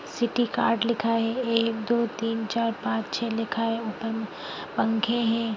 Citykart लिखा है एक दो तीन चार पांच छै लिखा है ऊपर मे पंखे है।